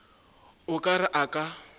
o ka re a ka